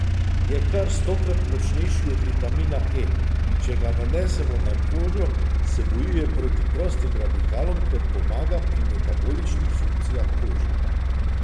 Je kar stokrat močnejši od vitamina E, in če ga nanesemo na kožo, se bojuje proti prostim radikalom ter pomaga pri metaboličnih funkcijah kože.